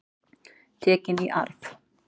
Tekin í arf.